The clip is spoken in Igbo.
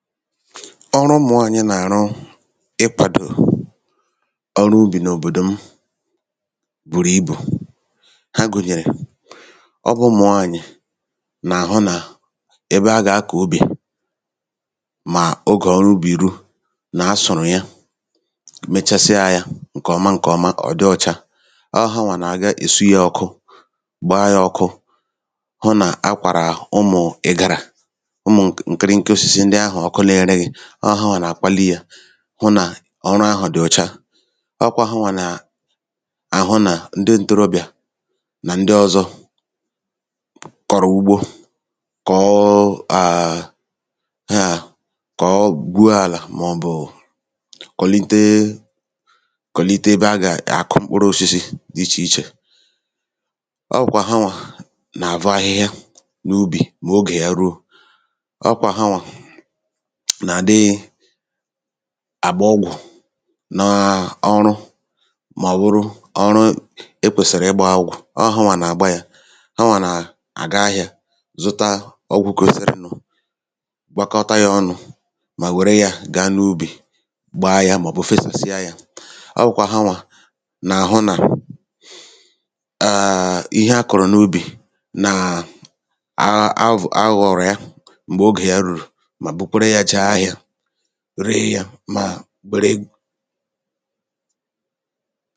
Ọrụ ụmụ̀ nwaànyị nà-àrụ nàà ọrụ ubì kàrị̀rị̀ àkarị n’òbòdò m. Ha gùnyèrè igbā mbọ̀ ịhụ̄ n’àlà a gà-àrụ ọrụ̄ nà-asụ̀rụ̀ ya ǹkọ̀ọma kpakọta yā, gbaa yā ọkụ, kpọọ baa yā balite yā elū mà kunye yā mkpụrụ Ihe ọzọ ha nèmekwa bụ̀ nà ha ǹahụ nà avọ̀rọ̀ ya ahịhịa kọ̀ma kọ̀ọ̀ma, chọkwara ụmụ̀ụ̀ nri dị̄ ichè ichè nàà shi ehī, nàà shi anụmānụ̀ nà shi ọkụkụ̀ tinye nà ya ijì kwàlite, ijī nyere àlà aka kò o mee ǹkọ̀ọma, ihe ọzọ ha nà-èmekwa bụ̀ nà ha nàga kwàmgbè kwàmgbè ịhụ̄ mọ̀bụ̀ ilēbà anya òtùù ihe ndị ahụ̀ akụ̀rụ̀ n’ubī jì neèto. Ị mọ̄ọ̄ òtù ọwụ̀ ha nwèrè ike ijì nyere akā mọ̀bụ̀ ịgbā ọgwụ̀ mọ̀bụ̀ ịmā ihe ha gème ijī hụ nà ubì ndị à kàrà ǹkọ̀ọma ọọkwa ha nwà nà-àhụ nà ihu ubì ndị à nàà awọ̀rọ̀ ha, avụ̄fụ̀tàrà ha n’ubì chekwa hā ndị a gè-èji gaa ahịā èburu hā gaa ahịā ndị a gà-èchekwa n’ụlọ̀ èchekwaa ndị a gà-èrikwa eri ọọ̄kwa hanwà nà hụ nà ndị ahụ̀ nà-elètàrà ha otu o kwèsìrì mà wère yā mee ihe a chọ̀rọ̀ ijì yà mee